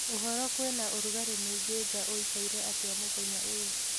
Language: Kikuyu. ũhoro kwĩna ũrũgarĩ mũingi nja ũĩkaire atĩa mũthenya uyu